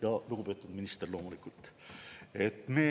Ja lugupeetud minister, loomulikult!